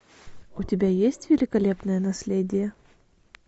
у тебя есть великолепное наследие